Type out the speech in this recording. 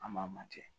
An b'a manjɛ